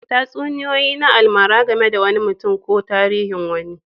Tatsuniyoyi na almara game da wani mutum ne ko tarihin wuri